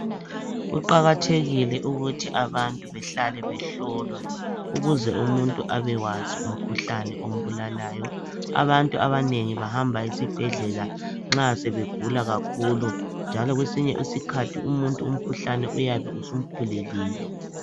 Kuqakathekile ukuthi abantu behlale behlolwa ukuze umuntu abekwazi umkhuhlane ombulalayo. Abantu abanengi bahamba esibhedlela nxa sebegula kakhulu njalo kwesinye isikhathi umuntu umkhuhlane uyabe usumkhulelile.